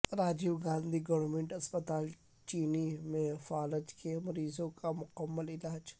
Rajiv Gandhi government اسپتال چنئی میں فالج کے مریضوں کا مکمل علاج